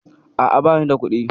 A'a, bani da kuɗi.